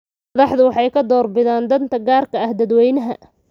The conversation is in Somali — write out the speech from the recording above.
Madaxdu waxay ka door bidaan danta gaarka ah dadweynaha.